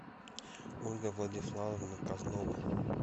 ольга владиславовна козлова